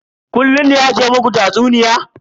Kullun ne ake ma ku tatsuniya?